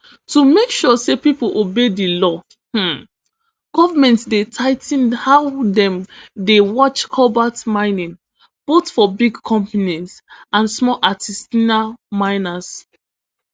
to make sure say pipo obey di law um goment dey tigh ten how dem dey watch cobalt mining both for big companies and small artisanal miners